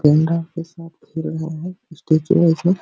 गैंडा के साथ खेल रहे हैं स्टैचू है --